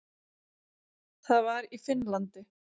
Það var í Finnlandi.